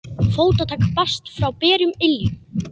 Fótatak barst frá berum iljum.